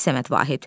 Səməd Vahid.